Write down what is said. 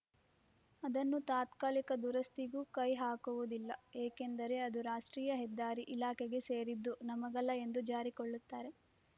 ಅದನ್ನು ತಾತ್ಕಲಿಕ ದುರಸ್ತಿಗೂ ಕೈಹಾಕುವುದಿಲ್ಲ ಏಕೆಂದರೆ ಅದು ರಾಷ್ಟ್ರೀಯ ಹೆದ್ದಾರಿ ಇಲಾಖೆಗೆ ಸೇರಿದ್ದು ನಮಗಲ್ಲ ಎಂದು ಜಾರಿಕೊಳ್ಳುತ್ತಾರೆ